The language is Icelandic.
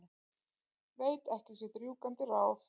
Veit ekki sitt rjúkandi ráð.